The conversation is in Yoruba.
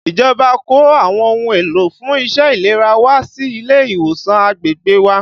Ìjọba kó àwọn ohun èlò fún iṣẹ́ ìlera wá sí ilé ìwòsàn agbègbè wa